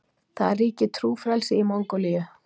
Það ríkir trúfrelsi í Mongólíu.